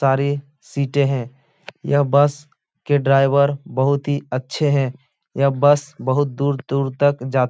सारी सीटें हैं। यह बस के ड्राईवर बोहोत ही अच्छे हैं। यह बस बोहोत दूर-दूर तक जात --